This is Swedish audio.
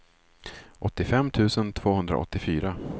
åttiofem tusen tvåhundraåttiofyra